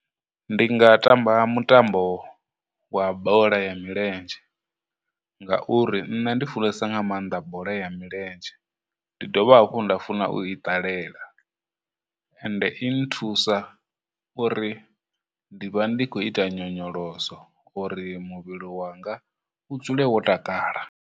Ndi nga tamba mutambo wa bola ya milenzhe ngauri nne ndi funesa nga maanḓa bola ya milenzhe, ndi dovha hafhu nda funa u ita ṱalela, ende i nthusa uri ndi vha ndi khou ita nyonyoloso uri muvhili wanga u dzule wo takala